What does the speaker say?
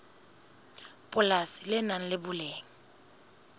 polasi le nang le boleng